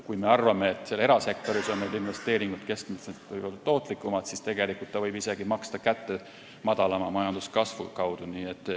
Kui me arvame, et seal erasektoris on investeeringud keskmiselt tootlikumad, siis tegelikult võib see maksta kätte madalama majanduskasvu kaudu.